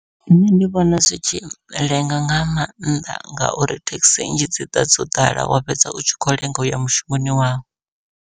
Nṋe ndi vhona zwi tshi lenga nga maanḓa, ngauri thekhisi nnzhi dzi ḓa dzo ḓala wa fhedza u tshi kho lenga uya mushumoni wau.